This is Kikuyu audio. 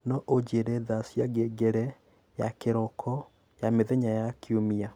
No ũnjĩĩre thaa cia ngengere ya kiroko ya mithenya ya kiumia